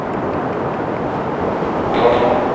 હમમ